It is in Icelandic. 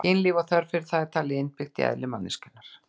Kynlíf og þörf fyrir það er talið innbyggt í eðli manneskjunnar.